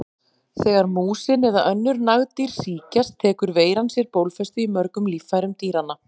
Þegar músin eða önnur nagdýr sýkjast tekur veiran sér bólfestu í mörgum líffærum dýranna.